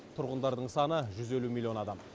тұрғындарының саны жүз елу милллион адам